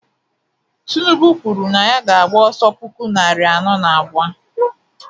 tinubu kwuru na ya ga-agba ọsọ puku narị anọ na abụọ